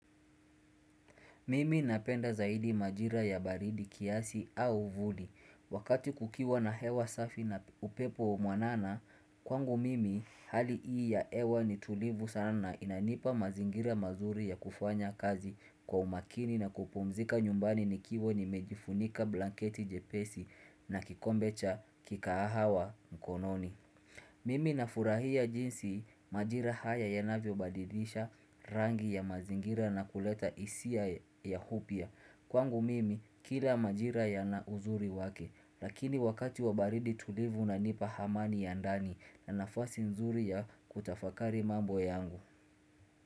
Mimi napenda zaidi majira ya baridi kiasi au vuli. Wakati kukiwa na hewa safi na upepo mwanana, kwangu mimi hali hii ya hewa ni tulivu sana na inanipa mazingira mazuri ya kufanya kazi kwa umakini na kupumzika nyumbani nikiwa nimejifunika blanketi jepesi na kikombe cha kikahawa mkononi. Mimi nafurahia jinsi majira haya yanavyo badilisha rangi ya mazingira na kuleta hisia ya upya. Kwangu mimi kila majira yana uzuri wake, lakini wakati wa baridi tulivu unanipa amani ya ndani na nafasi nzuri ya kutafakari mambo yangu.